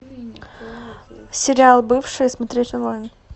сериал бывшие смотреть онлайн